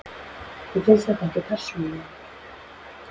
Mér finnst það ekki, persónulega.